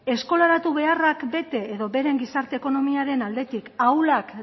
eskolaratu beharrak bete edo beren gizarte ekonomiaren ahulak